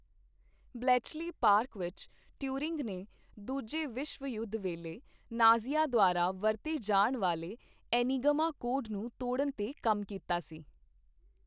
Bletchley park ਵਿਖੇ, Turing ਨੇ ਦੂਜੇ ਵਿਸ਼ਵ ਯੁੱਧ ਵੇਲੇ ਨਾਜ਼ੀਆਂ ਦੁਆਰਾ ਵਰਤੇ ਜਾਣ ਵਾਲੇ ਐਨੀਗਮਾ ਕੋਡ ਨੂੰ ਤੋੜਨ 'ਤੇ ਕੰਮ ਕੀਤਾ ਸੀ।